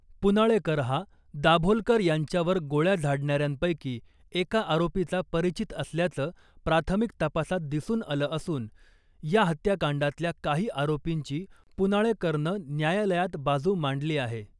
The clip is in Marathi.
पुनाळेकर हा दाभोलकर यांच्यावर गोळ्या झाडणाऱ्यांपैकी एका आरोपीचा परिचित असल्याचं प्राथमिक तपासात दिसून आलं असून , या हत्याकांडातल्या काही आरोपींची पुनाळेकरनं न्यायालयात बाजू मांडली आहे .